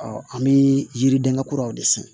an bɛ yiridenkɛ kuraw de san